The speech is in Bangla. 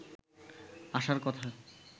আশার কথা